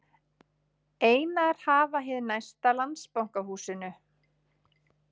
Einar hafa hið næsta Landsbankahúsinu.